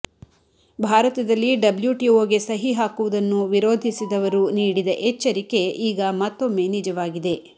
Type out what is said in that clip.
ಭಾರತದಲ್ಲಿ ಡಬ್ಲ್ಯುಟಿಒಗೆ ಸಹಿ ಹಾಕುವುದನ್ನು ವಿರೋಧಿಸಿದವರು ನೀಡಿದ ಎಚ್ಚರಿಕೆ ಈಗ ಮತ್ತೊಮ್ಮೆ ನಿಜವಾಗಿದೆ